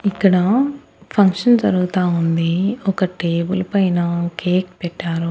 ఇక్కడ ఫంక్షన్ జరుగుతా ఉంది ఒక టేబుల్ పైన కేక్ పెట్టారు.